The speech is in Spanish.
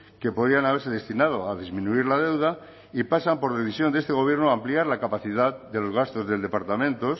que podrían haberse destinado a disminuir la deuda y pasan por decisión de este gobierno a ampliar la capacidad de los gastos del departamento